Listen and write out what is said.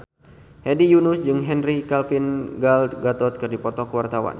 Hedi Yunus jeung Henry Cavill Gal Gadot keur dipoto ku wartawan